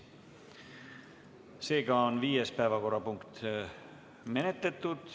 Tänane viies päevakorrapunkt on menetletud.